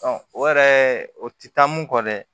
o yɛrɛ o ti taa mun kɔ dɛ